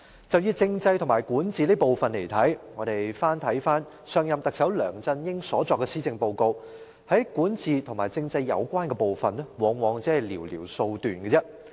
就以政制和管治這部分來看，我們翻看上任特首梁振英所作的施政報告，在管治和政制有關部分，往往只是寥寥數段。